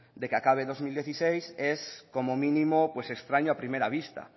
de que acabe dos mil dieciséis es como mínimo pues extraño a primera vista